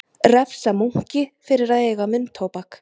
Refsa munki fyrir að eiga munntóbak